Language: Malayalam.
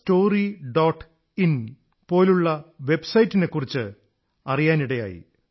in പോലുള്ള വെബ്സൈറ്റ് നെക്കുറിച്ച് അറിയാനിടയായി